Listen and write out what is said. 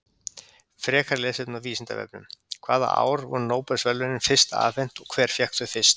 Frekara lesefni á Vísindavefnum: Hvaða ár voru Nóbelsverðlaunin fyrst afhent og hver fékk þau fyrst?